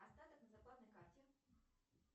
остаток на зарплатной карте